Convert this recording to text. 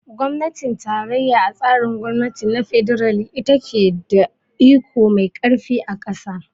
Gwamnatin tarayya a tsarin gwamnati na fedarali ita ce ta ke da iko mai karfi a kasa.